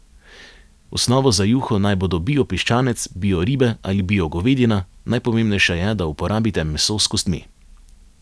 Osnova za juho naj bodo bio piščanec, bio ribe ali bio govedina, najpomembnejše je, da uporabite meso s kostmi.